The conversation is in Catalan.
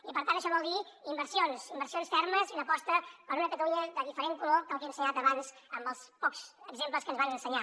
i per tant això vol dir inversions inversions fermes i una aposta per una catalunya de diferent color que el que he ensenyat abans amb els pocs exemples que ens van ensenyar